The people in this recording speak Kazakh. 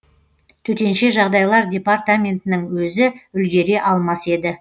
төтенше жағдайлар департаментінің өзі үлгере алмас еді